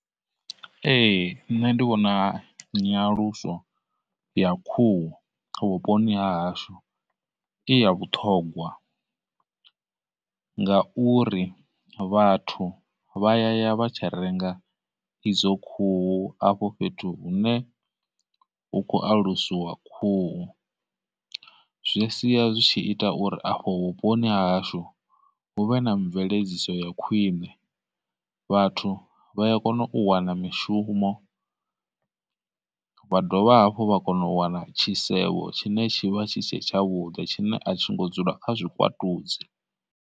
Ee, nṋe ndi vhona nyaluso ya khuhu vhuponi ha hashu i ya vhuṱhongwa, ngauri vhathu vha ya ya vha tshi renga idzo khuhu hafho fhethu hune hu kho alusiwa khuhu. Zwi sia zwi tshi ita uri afho vhuponi hashu hu vhe na mveledziso ya khwine, vhathu vha ya kona u wana mishumo, vha dovha hafhu vha kona u wana tshisevho tshine tshi vha tshi tshe tshavhuḓi tshine a tshi ngo dzula kha zwikwatudzi.